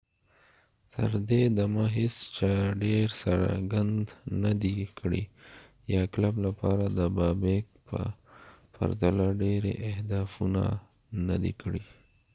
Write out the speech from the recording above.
تر دې دمه هیڅ چا ډیر څرګند نه دی کړی یا کلب لپاره د بابیک په پرتله ډیرې اهدافونه نه دې کړې